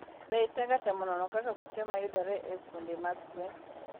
Be isegatemo nono kaka kute mayudore e fuonde mag gwen?